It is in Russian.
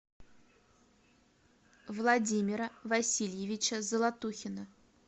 владимира васильевича золотухина